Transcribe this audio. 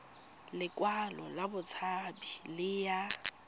lekwalo la botshabi le ya